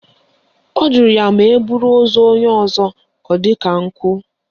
Ọ jụrụ ya ma eburu ozu onye ọzọ ọ dị ka ọ bụ nkụ?